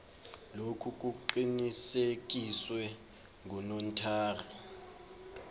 lokhu kuqinisekiswe ngunotary